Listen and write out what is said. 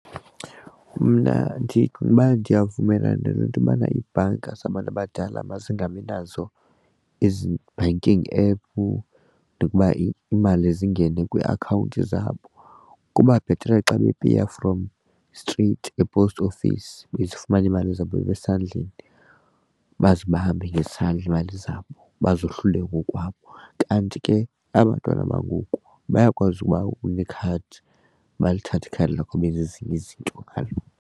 Mna ndicinga uba ndiyavumelana nento yobana iibhanka zabantu abadala mazingabi nazo ezi banking app nokuba iimali zingene kwiiakhawunti zabo. Kuba bhetere xa bepeya from straight e-post office bezofumana iimali zabo esandleni bazibambe ngesandla iimali zabo bazohlule ngokwabo. Kanti ke aba bantwana bangoku bayakwazi ukuba unekhadi balithathe ikhadi lakho, benze ezinye izinto ngalo.